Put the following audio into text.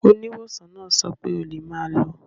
Oníwòsàn náà sọ pé o lè máa lọ.